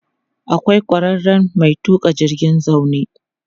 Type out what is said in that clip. Akwai ƙwararren mai tuƙa jirgin zaune.